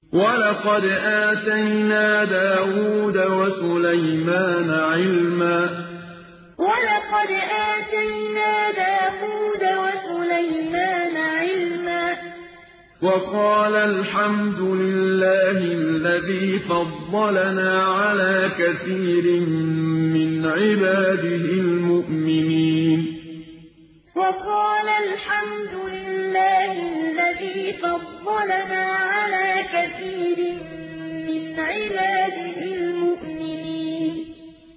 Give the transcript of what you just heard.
وَلَقَدْ آتَيْنَا دَاوُودَ وَسُلَيْمَانَ عِلْمًا ۖ وَقَالَا الْحَمْدُ لِلَّهِ الَّذِي فَضَّلَنَا عَلَىٰ كَثِيرٍ مِّنْ عِبَادِهِ الْمُؤْمِنِينَ وَلَقَدْ آتَيْنَا دَاوُودَ وَسُلَيْمَانَ عِلْمًا ۖ وَقَالَا الْحَمْدُ لِلَّهِ الَّذِي فَضَّلَنَا عَلَىٰ كَثِيرٍ مِّنْ عِبَادِهِ الْمُؤْمِنِينَ